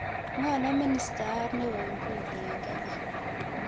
Ng'o ne ministayat neo inguni eng' Kenya